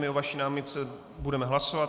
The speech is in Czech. My o vaší námitce budeme hlasovat.